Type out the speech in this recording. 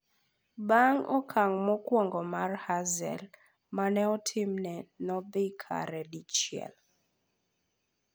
Bang'e okang' mokwongo mar Hazel mane otimne no dhi kare dichiel.